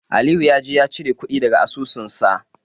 Aliyu ya je ya cire kuɗi daga asusunsa.